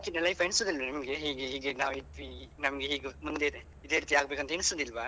ಮುಂಚಿದ್ life ಎನಿಸುದಿಲ್ವಾ ನಿಮ್ಗೆ? ಹೀಗೆ ಹೀಗೆ ನಾವ್ ಇದ್ವಿ ನಮ್ಗೆ ಹೇಗೂ ಮುಂದೆ ಇದೆ ಇದೇ ರೀತಿ ಆಗ್ಬೇಕಂತ ಎನಿಸುದಿಲ್ವಾ?